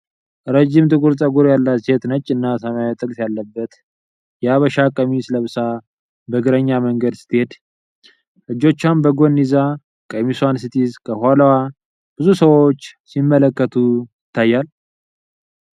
ረጅም ጥቁር ጠጉር ያላት ሴት ነጭና ሰማያዊ ጥልፍ ያለበት የሐበሻ ቀሚስ ለብሳ በእግረኛ መንገድ ስትሄድ ። እጆቿን በጎን ይዛ ቀሚሷን ስትይዝ ከኋላዋ ብዙ ሰዎች ሲመለከቱ ይታያሉ።